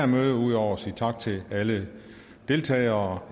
møde ud over at sige tak til alle deltagere